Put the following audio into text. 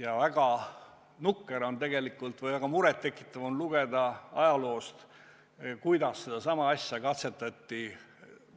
Ja väga nukker või väga muret tekitav on lugeda ajaloost, et sedasama asja katsetati